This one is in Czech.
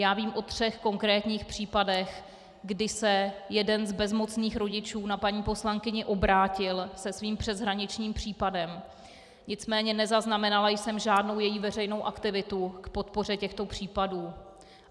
Já vím o třech konkrétních případech, kdy se jeden z bezmocných rodičů na paní poslankyni obrátil se svým přeshraničním případem, nicméně nezaznamenala jsem žádnou její veřejnou aktivitu k podpoře těchto případů.